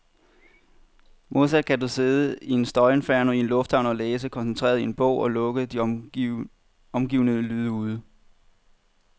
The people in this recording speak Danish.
Modsat kan du sidde i et støjinferno i en lufthavn og læse koncentreret i en bog, og lukke de omgivende lyde ude.